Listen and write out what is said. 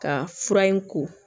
Ka fura in ko